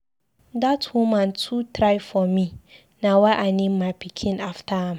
Dat woman too try for me, na why I name my pikin after am.